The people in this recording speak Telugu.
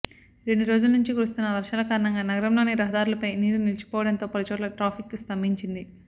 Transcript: రెండు రోజలు నుంచి కురుస్తున్న వర్షాల కారణంగా నగరంలోని రహదారులపై నీరు నిలిచిపోవడంతో పలుచోట్ల ట్రాఫిక్ స్థంభించింది